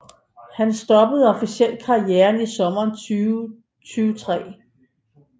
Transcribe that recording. Han stoppede officielt karrieren i sommeren 2003